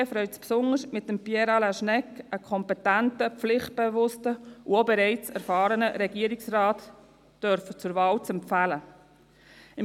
Die SVP freut sich besonders, mit Pierre Alain Schnegg einen kompetenten, pflichtbewussten und auch bereits erfahrenen Regierungsrat zur Wahl empfehlen zu dürfen.